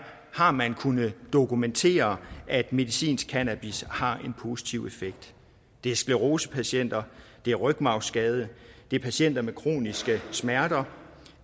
har man kunnet dokumentere at medicinsk cannabis har en positiv effekt det er sclerosepatienter det er rygmarvsskadede det er patienter med kroniske smerter